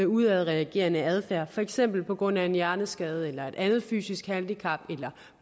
udadreagerende adfærd for eksempel på grund af en hjerneskade et andet fysisk handicap eller